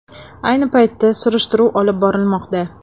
Ayni paytda surishtiruv olib borilmoqda.